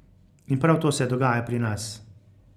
In prav to se dogaja pri nas.